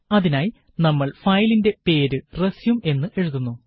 അതിനായി നമ്മള് ഫയലിന്റെ പേര് റസ്യൂം എന്ന് എഴുതുന്നു